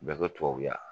Bɛɛ ka tubabu la